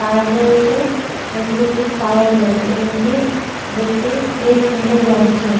তার রয়েছে এদিকে একটি টাওয়াল রয়েছে রুম -টি দেখতে বেশ সুন্দর লাগছে।